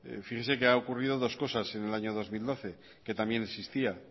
fíjese que ha ocurrido dos cosas en el año dos mil doce que también existían